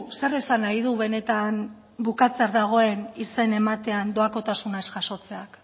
zer esan nahi du benetan bukatzear dagoen izen ematean doakotasunak ez jasotzeak